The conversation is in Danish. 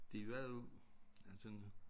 De var jo ja sådan